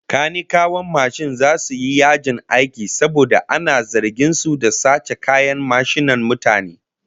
Kanikawan mashin zasu yi yajin aiki saboda ana zargin su da sace kayan mashinan mutane